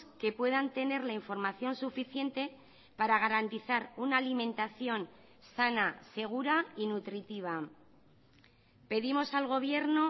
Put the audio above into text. que puedan tener la información suficiente para garantizar una alimentación sana segura y nutritiva pedimos al gobierno